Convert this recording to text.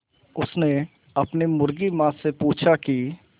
उसने अपनी मुर्गी माँ से पूछा की